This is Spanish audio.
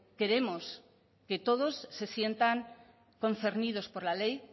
queremos que todos se sientan concernidos por la ley